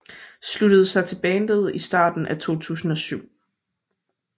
Sluttede sig til bandet i starten af 2007